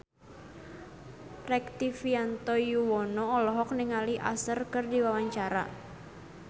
Rektivianto Yoewono olohok ningali Usher keur diwawancara